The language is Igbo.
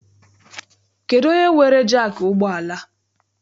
Kedụ onye weere jaakị ụgbọala a?